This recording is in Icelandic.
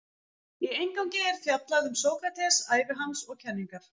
Í inngangi er fjallað um Sókrates, ævi hans og kenningar.